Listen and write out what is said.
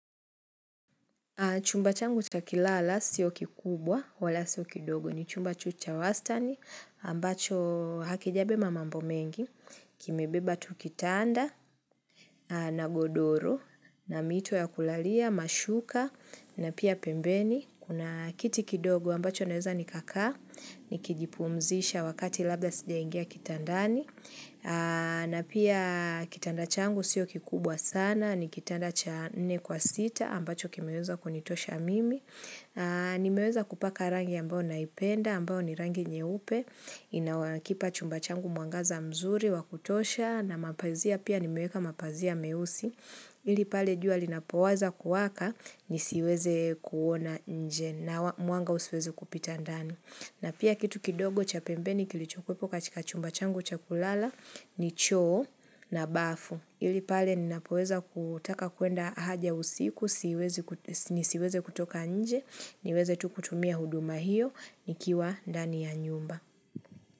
Chumba changu cha kulala wala sio kikubwa wala sio kidogo ni chumba chucha wastani ambacho hakijabeba mamambo mengi, kimebeba tukitanda na godoro na mito ya kulalia, mashuka na pia pembeni. Kuna kitikidogo ambacho naweza nikakaa, nikijipumzisha wakati labda sija ingia kitandani, na pia kitandachangu sio kikubwa sana, ni kitandachane kwa sita ambacho kimeweza kunitosha mimi. Nimeweza kupaka rangi ambao naipenda, ambao ni rangi nye upe, inakipa chumba changu mwangaza mzuri, wakutosha, na mapazia pia nimeweka mapazia meusi. Ilipale jua linapowaza kuwaka nisiweze kuona nje na mwanga usiweze kupita ndani. Na pia kitu kidogo cha pembeni kilichokuepo kachika chumba changu cha kulala ni choo na bafu. Ilipale ninapoweza kutaka kuenda haja usiku nisiweze kutoka nje niweze tukutumia huduma hiyo nikiwa ndani ya nyumba.